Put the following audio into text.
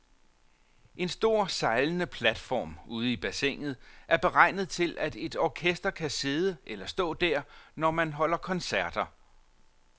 En stor sejlende platform ude i bassinet er beregnet til, at et orkester kan sidde eller stå der, når man holder koncerter.